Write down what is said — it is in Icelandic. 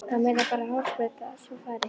Það munaði bara hársbreidd að svo færi.